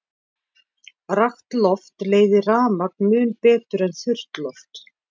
Rakt loft leiðir rafmagn mun betur en þurrt loft.